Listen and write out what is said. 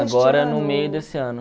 Agora no meio desse ano.